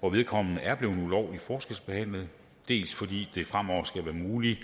hvor vedkommende er blevet ulovligt forskelsbehandlet dels fordi det fremover skal være muligt